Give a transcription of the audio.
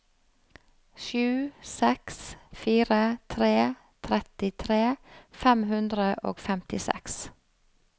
sju seks fire tre trettitre fem hundre og femtiseks